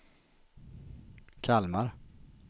Kalmar